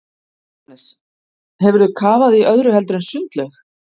Jóhannes: Hefur þú kafað í öðru heldur en sundlaug?